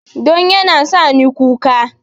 Don yana sa ni kuka